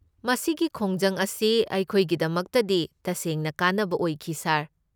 ꯃꯁꯤꯒꯤ ꯈꯣꯡꯖꯪ ꯑꯁꯤ ꯑꯩꯈꯣꯏꯒꯤꯗꯃꯛꯇꯗꯤ ꯇꯁꯦꯡꯅ ꯀꯥꯟꯅꯕ ꯑꯣꯏꯈꯤ, ꯁꯥꯔ꯫